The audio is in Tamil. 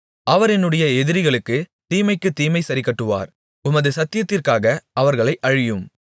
அவர் என்னுடைய எதிரிகளுக்குத் தீமைக்குத் தீமையைச் சரிக்கட்டுவார் உமது சத்தியத்திற்காக அவர்களை அழியும்